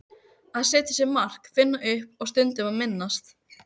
Að setja sér mark, finna upp og stundum að minnast.